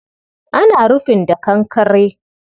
Ana rufin da kankkre